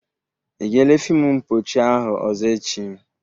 Ị ga-ele fịmụ mpọchị ahụ ọzọ echi?